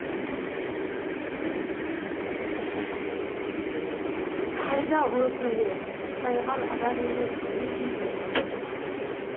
қайда о пәле тайған адам емес не дейді